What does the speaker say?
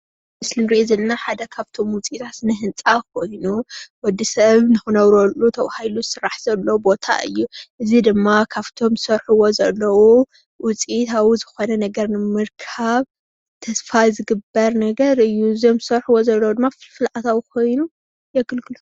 እዚ እንሪኦ ዘለና ሓደ ኻፍቶም ውፅኢት ስነህንፃ ኾይኑ ወድሰብ ንክነብረሉ ተባሂሉ ዝስራሕ ዘሎ ቦታ እዩ። እዙይ ድማ ካፍቶም ዘሰርሕዎ ዘለው ውፂኢታዊ ዝኾነ ነገር ንምርካብ ተስፋ ዝግበር ነገር እዩ። እቶም ዝሰርሕዎ ዘለው ድማ ፍልፍል ኣታዊ ኮይኑ የገልግሎም።